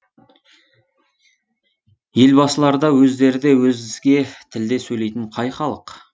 елбасылары да өздері де өзге тілде сөйлейтін қай халық